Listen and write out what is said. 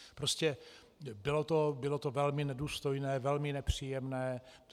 Prostě bylo to velmi nedůstojné, velmi nepříjemné.